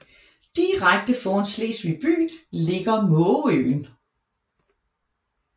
Direkte foran Slesvig by ligger Mågeøen